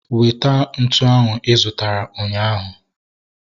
Weta ntụ ahu I zụtara ụnyaahụ